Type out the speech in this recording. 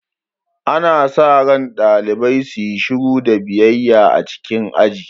Ana sa ran ɗalibai su yi shiru da biyayya a cikin aji.